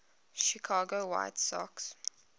chicago white sox